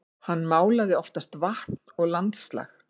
Hann málaði oftast vatn og landslag.